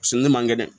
Se ne man kɛ dɛ